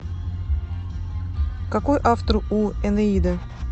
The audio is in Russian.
какой автор у энеида